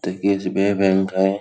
इथ एक S .B. I bank हाय |